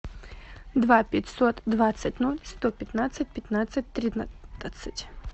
два пятьсот двадцать ноль сто пятнадцать пятнадцать тринадцать